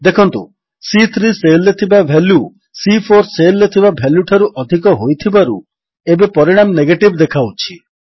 ଦେଖନ୍ତୁ ସି3 ସେଲ୍ ରେ ଥିବା ଭାଲ୍ୟୁ ସି4 ସେଲ୍ ରେ ଥିବା ଭାଲ୍ୟୁଠାରୁ ଅଧିକ ହୋଇଥିବାରୁ ଏବେ ପରିଣାମ ନେଗେଟିଭ୍ ଦେଖାଉଛି